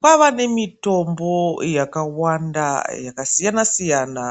Kwava nemitombo yakawanda yakasiyana siyana,